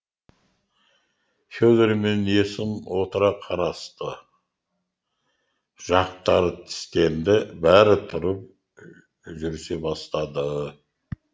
федор мен есім отыра қарасты жақтары тістенді бәрі тұрып жүрісе бастады